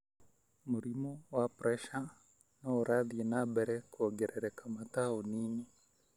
Mũrimũ wa pressure no urathĩe na mbere kuongerereka mataũninĩ.